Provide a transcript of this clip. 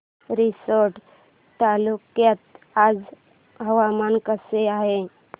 रिसोड तालुक्यात आज हवामान कसे आहे